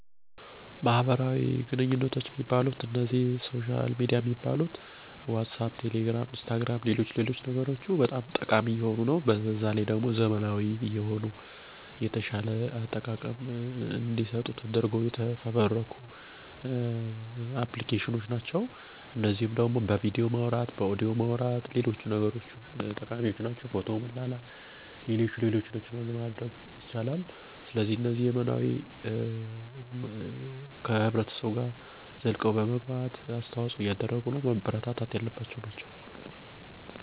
ኢንስታግራም፣ ቴሌግራም፣ ዋትስአፕ፣ ኢሞ፣ ፌስቡክ እና ሌሎችም ሲሆኑ ጽሁፍ በመላላክ፣ በቪዲዮ፣ በድምፅ እንዲሁም ፎቶ እና ሌሎች መረጃወችን በመላላክ መገናኘት ሲችሉ ከሩቅ ላሉ እና ስልክ በመደዋወል ለመገናኘት አስቸጋሪ የሆነ ቦታ ያለን ሰው ለማግኘት እና አካላዊ ሁኔታውን ለማየት፣ አዳዲስ ሰወችንና ስራወችን ለማውቅ፣ ለመማርና ለማስተማር ባጠቃላይ አለም አቀፍ የሆነ ግንኙነት እንዲኖር በማድረግ እነዚህ ቴክኖሎጅዎች ከሰዎች ጋር ያለንን መስተጋብር ለውጠዉታል።